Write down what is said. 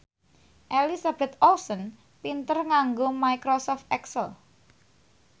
Elizabeth Olsen pinter nganggo microsoft excel